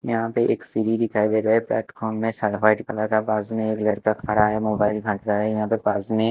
यहाँ पर एक सीडी दिखाई दे रहा है प्लेटफॉर्म में सरफ़ाइद कला के पास में एक लड़का खड़ा है मोबाईल फेकरा है यहाँ पे पास में ----